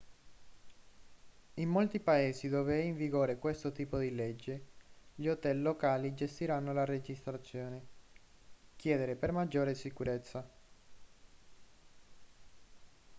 in molti paesi dove è in vigore questo tipo di legge gli hotel locali gestiranno la registrazione chiedere per maggiore sicurezza